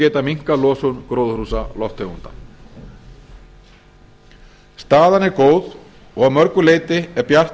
geta minnkað losun gróðurhúsalofttegunda staðan er góð og að mörgu leyti er bjart